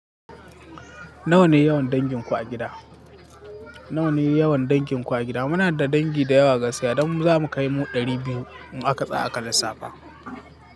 Nawa ne yawan danginku a gida? Nawa ne yawan danginku a gida? Muna da dangi da yawa gaskiya, don zamu kai mu ɗari biyu mu akatsa aka lissafa.